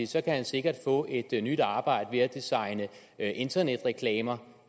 så kan han sikkert få et nyt arbejde med at designe internetreklamer